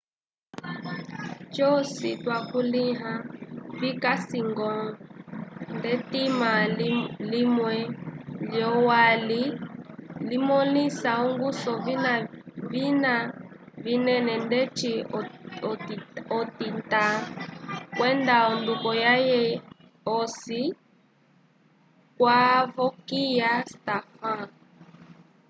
cosi twakulĩha vikasi-ñgo nd'etima limwe lyolwali limõlisa ongusu yovina vinene ndeci otitã kwenda onduko yaye osi kwavokiya stofan